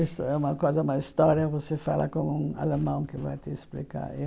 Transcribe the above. Isso é uma coisa uma história você fala com um alemão que vai te explicar.